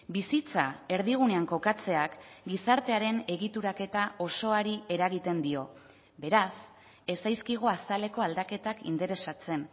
bizitza erdigunean kokatzeak gizartearen egituraketa osoari eragiten dio beraz ez zaizkigu azaleko aldaketak interesatzen